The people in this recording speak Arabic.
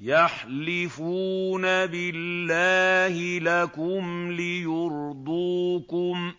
يَحْلِفُونَ بِاللَّهِ لَكُمْ لِيُرْضُوكُمْ